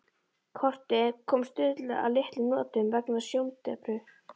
Kortið kom Stulla að litlum notum vegna sjóndepru.